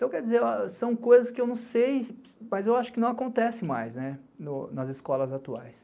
Então, quer dizer, são coisas que eu não sei, mas eu acho que não acontecem mais nas escolas atuais.